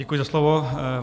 Děkuji za slovo.